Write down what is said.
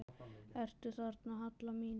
Ertu þarna, Halla mín?